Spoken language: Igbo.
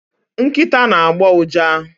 Nkịta na-agbọ ụja